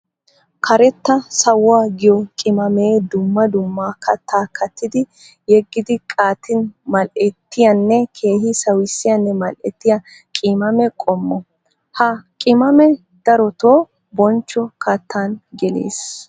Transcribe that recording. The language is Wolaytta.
Karetta sawuwa giyo qimamme dumma dumma katta kattiddi yegiddi qaattin mali'ettiyanne keehi sawissiyanne mali'etttiya qimaamme qommo. Ha qimamme darottoo bonchcho kattan gelees.